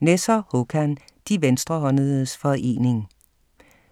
Nesser, Håkan: De venstrehåndedes forening